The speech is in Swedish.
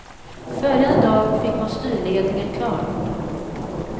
Följande dag fick man styrledningen klar.